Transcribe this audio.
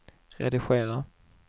redigera